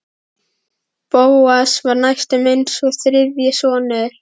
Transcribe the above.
Bóas var næstum eins og þriðji sonur